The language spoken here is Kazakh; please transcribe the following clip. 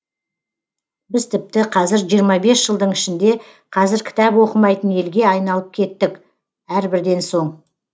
біз тіпті қазір жиырма бес жылдың ішінде қазір кітап оқымайтын елге айналып кеттік әрбірден соң